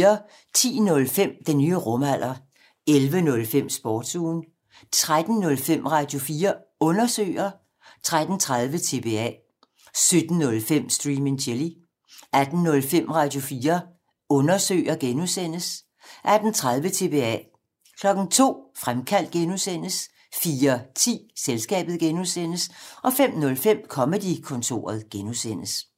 10:05: Den nye rumalder 11:05: Sportsugen 13:05: Radio4 Undersøger 13:30: TBA 17:05: Stream and Chill 18:05: Radio4 Undersøger (G) 18:30: TBA 02:00: Fremkaldt (G) 04:10: Selskabet (G) 05:05: Comedy-kontoret (G)